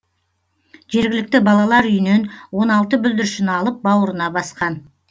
жергілікті балалар үйінен он алты бүлдіршін алып бауырына басқан